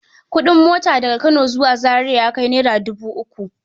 Kuɗin mota daga Kano zuwa Zaria ya kai naira dubu uku.